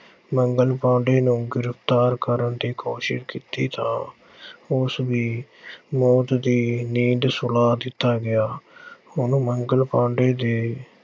ਮੰਗਲ ਪਾਂਡੇ ਨੂੰ ਗ੍ਰਿਫ਼ਤਾਰ ਕਰਨ ਦੀ ਕੋਸ਼ਿਸ਼ ਕੀਤੀ ਤਾਂ ਉਸ ਵੀ ਮੌਤ ਦੀ ਨੀਂਦ ਸੁਲਾ ਦਿੱਤਾ ਗਿਆ। ਹੁਣ ਮੰਗਲ ਪਾਂਡੇ ਦੇ